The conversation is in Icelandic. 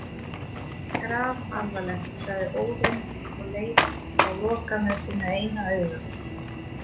Grafalvarlegt, sagði Óðinn og leit á Loka með sínu eina auga.